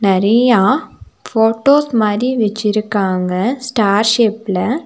நறயா photos மாரி வச்சிருக்காங்க star ஷேப்ல .